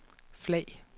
flag